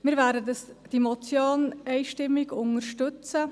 Wir werden die Motion einstimmig unterstützen.